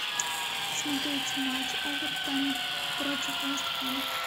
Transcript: смотреть матч эвертон против вест хэм